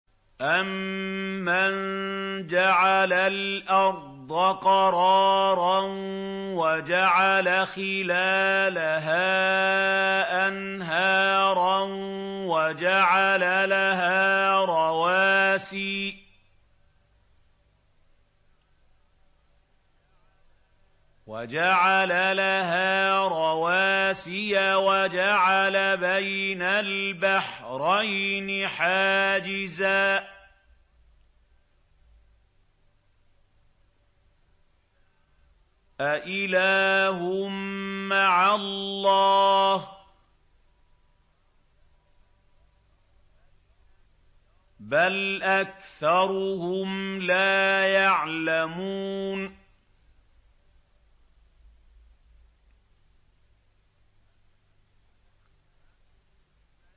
أَمَّن جَعَلَ الْأَرْضَ قَرَارًا وَجَعَلَ خِلَالَهَا أَنْهَارًا وَجَعَلَ لَهَا رَوَاسِيَ وَجَعَلَ بَيْنَ الْبَحْرَيْنِ حَاجِزًا ۗ أَإِلَٰهٌ مَّعَ اللَّهِ ۚ بَلْ أَكْثَرُهُمْ لَا يَعْلَمُونَ